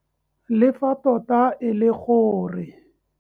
Le fa tota e le gore.